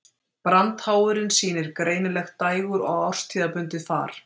Brandháfurinn sýnir greinilegt dægur- og árstíðabundið far.